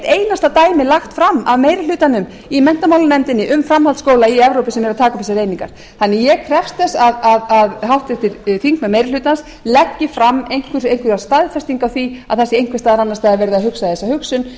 einasta dæmi lagt fram af meiri hlutanum í menntamálanefndinni um framhaldsskóla í evrópu sem eru að taka upp þessar einingar þannig að ég krefst þess að háttvirtir þingmenn meiri hlutans leggi fram einhverja staðfestingu á því að það sé einhvers staðar annars staðar verið að hugsa þessa